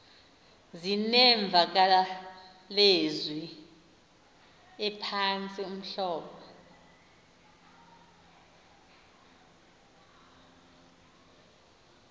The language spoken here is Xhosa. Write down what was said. zinemvakalezwi ephantsi uhlobo